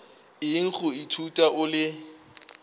eng go ithuta o le